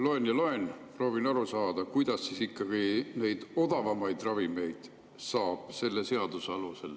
Loen ja loen, proovin aru saada, kuidas ikkagi saab selle seaduse alusel neid odavamaid ravimeid.